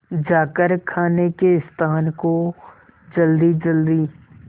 जाकर खाने के स्थान को जल्दीजल्दी